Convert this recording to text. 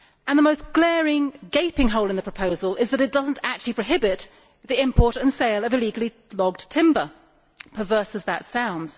The most glaring, gaping hole in the proposal is that it does not actually prohibit the import and sale of illegally logged timber perverse as that sounds.